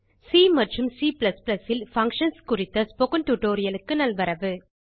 C மற்றும் C ல் functions குறித்த ஸ்போக்கன் டியூட்டோரியல் க்கு நல்வரவு